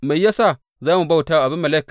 Me ya sa za mu bauta wa Abimelek?